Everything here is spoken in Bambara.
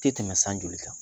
Tɛ tɛmɛ san joli kan